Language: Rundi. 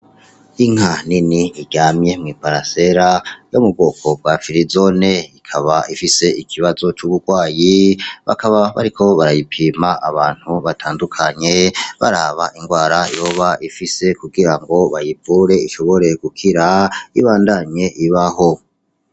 Inka nini iryamye hasi yom’ubwoko bwafirizone, ikaba ifis'ikibazo c'uburwayi bakaba bariko barayipima abantu batandukanye baraba igwara yoba ifise kugira bayivure ishobore gukira ibandanye ibaho.